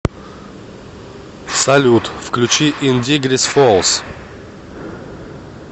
салют включи ин дигрис фоалс